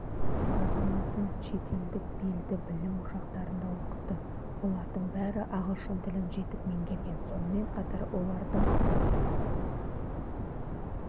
азаматын шетелдік белді білім ошақтарында оқытты олардың бәрі ағылшын тілін жетік меңгерген сонымен қатар олардың